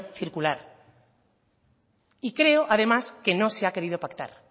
circular y creo además que no se ha querido pactar